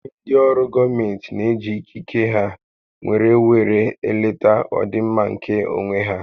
Ụfọdụ ndị ọrụ gọọmenti n'eji ikike ha nwèrè wéré eleta ọdịmma nkè onwé há